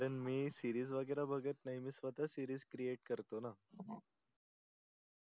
मी series वगेरे बगत नाही मी स्वता series create करतो णा